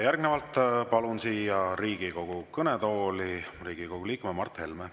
Järgnevalt palun siia Riigikogu kõnetooli Riigikogu liikme Mart Helme.